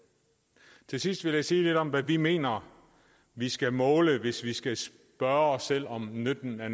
til sidst vil jeg sige lidt om hvad vi mener vi skal måle hvis vi skal spørge os selv om nytten af